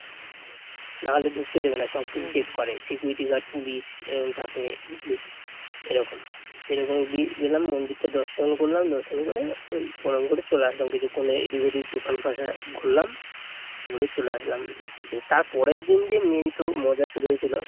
সেরকম দিয়ে গেলাম মন্দিরটা দর্শন করলাম দর্শন করে ওই প্রণাম করে চলে আসলাম, কিছুক্ষণ এদিক ওদিক দোকান কটা ঘুরলাম ঘুরে চলে আসলাম, গিয়ে তার পরের দিন দিয়ে মেইন তো মজা শুরু হয়েছিল